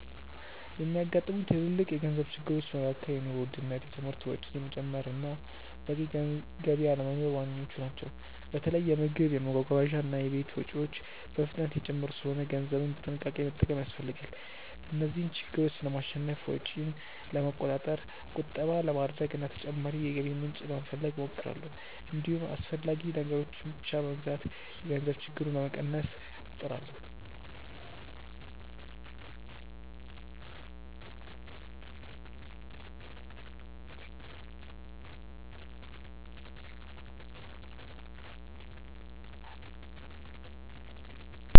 የሚያጋጥሙኝ ትልልቅ የገንዘብ ችግሮች መካከል የኑሮ ውድነት፣ የትምህርት ወጪ መጨመር እና በቂ ገቢ አለመኖር ዋነኞቹ ናቸው። በተለይ የምግብ፣ የመጓጓዣ እና የቤት ወጪዎች በፍጥነት እየጨመሩ ስለሆነ ገንዘብን በጥንቃቄ መጠቀም ያስፈልጋል። እነዚህን ችግሮች ለማሸነፍ ወጪን ለመቆጣጠር፣ ቁጠባ ለማድረግ እና ተጨማሪ የገቢ ምንጭ ለመፈለግ እሞክራለሁ። እንዲሁም አስፈላጊ ነገሮችን ብቻ በመግዛት የገንዘብ ችግሩን ለመቀነስ እጥራለሁ።